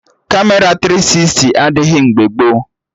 Kamera tiri sisti adịghị mgbe gboo